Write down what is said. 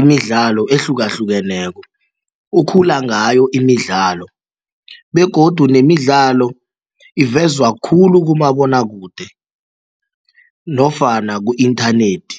imidlalo ehlukahlukeneko, ukhula ngayo imidlalo begodu nemidlalo ivezwa khulu kumabonwakude nofana ku-inthanethi.